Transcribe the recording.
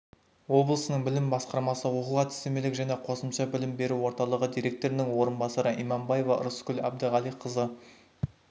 облысының білім басқармасы оқу әдістемелік және қосымша білім беру орталығы директорының орынбасары имамбаева ырысгүл әбдіғалиқызы